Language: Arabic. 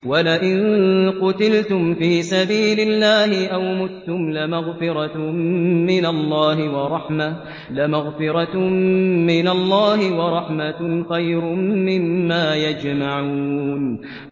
وَلَئِن قُتِلْتُمْ فِي سَبِيلِ اللَّهِ أَوْ مُتُّمْ لَمَغْفِرَةٌ مِّنَ اللَّهِ وَرَحْمَةٌ خَيْرٌ مِّمَّا يَجْمَعُونَ